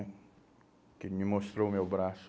Porque ele me mostrou o meu braço.